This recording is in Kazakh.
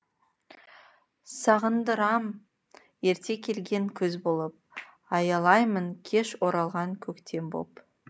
сағындырам ерте келген күз болып аялаймын кеш оралған көктем боп